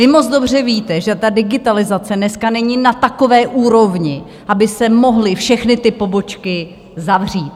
Vy moc dobře víte, že ta digitalizace dneska není na takové úrovni, aby se mohly všechny ty pobočky zavřít.